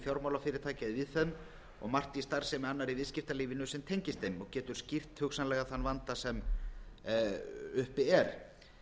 fjármálafyrirtækja er víðfeðm og margt í starfsemi annarra í viðskiptalífinu sem tengist þeim og getur skýrt hugsanlega þann vanda sem búi er